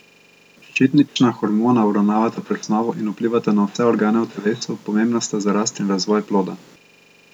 Ščitnična hormona uravnavata presnovo in vplivata na vse organe v telesu, pomembna sta za rast in razvoj ploda.